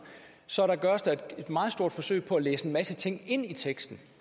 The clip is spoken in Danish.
så gøres der et meget stort forsøg på at læse en masse ting ind i teksten